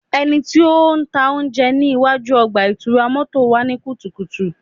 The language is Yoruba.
Ẹniti o ntaa ounjẹ ni iwaju ọgba-itura mọto wa ni kutukutu